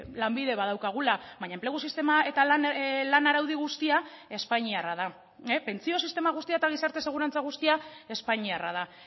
lanbide badaukagula baina enplegu sistema eta lan araudi guztia espainiarra da pentsio sistema guztia eta gizarte segurantza guztia espainiarra da